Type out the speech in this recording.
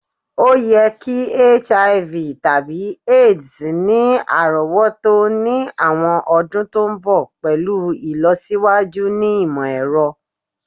o ye ki Hiv/Aids ni arowoto ni awọn ọdun to nbọ pẹlu ilosiwaju ni imọ-ẹrọ